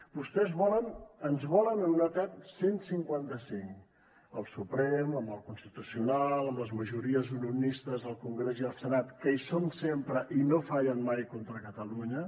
vostès ens volen en un etern cent i cinquanta cinc al suprem amb el constitucional amb les majories unionistes al congrés i al senat que hi són sempre i no fallen mai contra catalunya